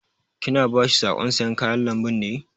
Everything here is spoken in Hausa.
Ki na ba shi saƙon sayan kayan lambun ne?